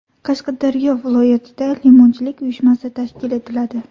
Qashqadaryo viloyatida limonchilik uyushmasi tashkil etiladi.